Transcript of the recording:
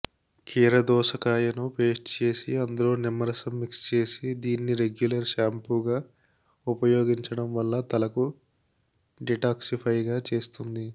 కీరదోసకాయను paste చేసి అందులో నిమ్మరసం మిక్స్ చేసి దీన్ని రెగ్యులర్ షాంపుగా ఉపయోగించడం వల్ల తలకు డిటాక్సిఫైగా చేస్తుంది